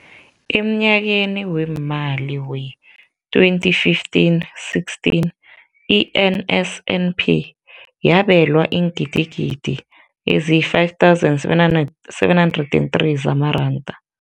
Emnyakeni weemali we-2015, 16, i-NSNP yabelwa iingidigidi ezi-5 703 zamaranda.